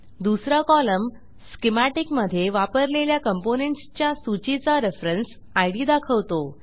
दुसरा column schematic मधे वापरलेल्या कॉम्पोनेंट्स च्या सूचीचा रेफरन्स इद दाखवतो